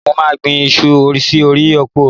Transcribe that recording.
Mo máà gbin iṣu sí orí oko mi.